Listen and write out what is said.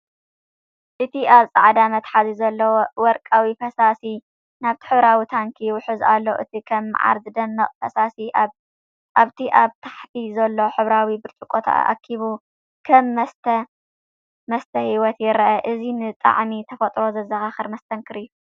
እቲ ኣብቲ ጻዕዳ መትሓዚ ዘሎ ወርቃዊ ፈሳሲ ናብቲ ሕብራዊ ታንኪ ይውሕዝ ኣሎ። እቲ ከም መዓር ዝደምቕ ፈሳሲ፡ ኣብቲ ኣብ ታሕቲ ዘሎ ሕብራዊ ብርጭቆ ተኣኪቡ ከም መስተ ህይወት ይረአ። እዚ ንጣዕሚ ተፈጥሮ ዘዘኻኽር መስተንክር እዩ።